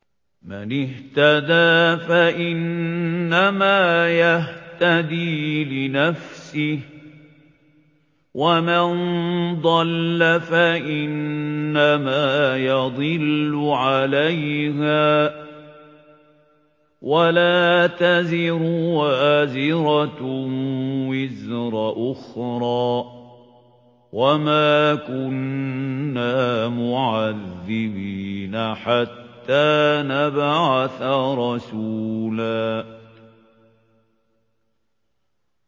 مَّنِ اهْتَدَىٰ فَإِنَّمَا يَهْتَدِي لِنَفْسِهِ ۖ وَمَن ضَلَّ فَإِنَّمَا يَضِلُّ عَلَيْهَا ۚ وَلَا تَزِرُ وَازِرَةٌ وِزْرَ أُخْرَىٰ ۗ وَمَا كُنَّا مُعَذِّبِينَ حَتَّىٰ نَبْعَثَ رَسُولًا